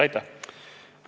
Aitäh!